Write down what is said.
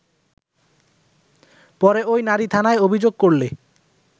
পরে ওই নারী থানায় অভিযোগ করলে